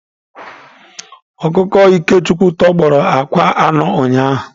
Ọkụkọ Ikechukwu tọgbọrọ akwa anọ ụnyahụ.